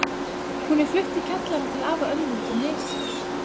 Hún er flutt í kjallarann til afa og ömmu úti á Nesi.